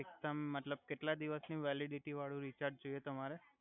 એકદમ મતલબ કેટલા દિવસની વેલિડીટી વાડું રીચાર્જ જોઇએ તમારે